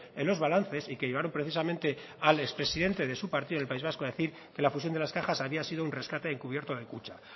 en los balances y que llevaron precisamente al expresidente de su partido del país vasco a decir que la fusión de las cajas había sido un rescate encubierto de kutxa